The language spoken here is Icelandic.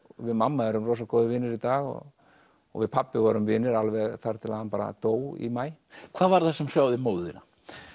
við mamma erum rosa góðir vinir í dag og og við pabbi vorum vinir alveg þar til hann dó í maí hvað var það sem hrjáði móður þína